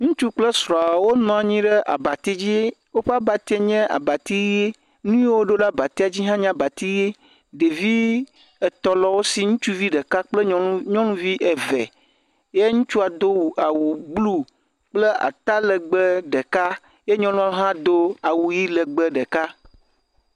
ŋutsu kple srɔa wó nɔnyiɖe abatsi dzi woƒa bati nye abati yi nuyi woɖó ɖe abatia dzi hã nye abati yi ɖevi etɔ̃ le wosi ŋutsuvi ɖeka kple nyɔŋuvi eve ye ŋutsua dó awu blu kple ata legbe ɖeka ye nyɔnuɔ hã do awu yi legbe ɖeka